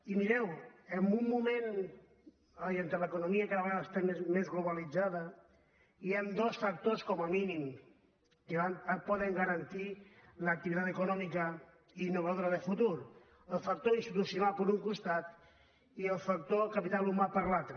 i mireu en un moment en què l’economia cada vegada està més globalitzada hi han dos factors com a mínim que poden garantir l’activitat econòmica innovadora de futur el factor institucional per un costat i el factor capital humà per l’altre